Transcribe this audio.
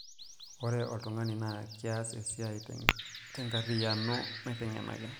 ore oltungani naa kias esia te enkarriyiano nateng'enaki